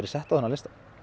sett á þennan lista